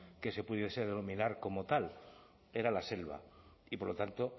que se pudiese denominar como tal era la selva y por lo tanto